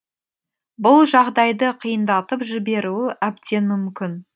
бұл жағдайды қиындатып жіберуі әбден мүмкін